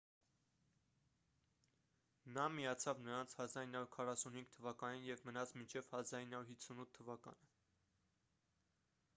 նա միացավ նրանց 1945 թվականին և մնաց մինչև 1958 թվականը